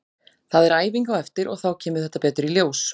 Það er æfing á eftir og þá kemur þetta betur í ljós.